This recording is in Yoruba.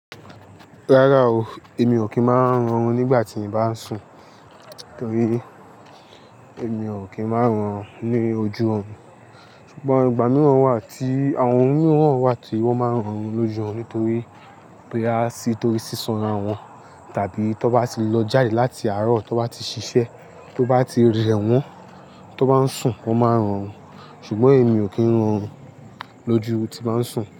Rárá o, èmi ò kí ń máa ń ọrùn nígbà tí n bá ń sùn, torí èmi ò kí ń máa ń orùn ní ojú ọ̀run. Ṣùgbọ́n ìgbà mìíràn wà tí àwọn mìíràn wà tí wọ́n máa ń orùn lójú ọ̀run nítorí boya sì torí sísanra wọn tàbí tó bá ti lọ jáde láti àárọ̀ tó bá ti ṣiṣẹ́ tó bá ti rẹ wọn tó bá ń sùn, wọn máa ń orùn. Ṣùgbọ́n èmi ò kí ń orùn lójú tí n bá ń sùn.